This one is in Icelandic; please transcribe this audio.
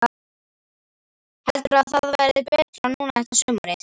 Heldur að það verði betra núna þetta sumarið?